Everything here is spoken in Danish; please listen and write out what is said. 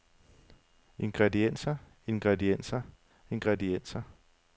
ingredienser ingredienser ingredienser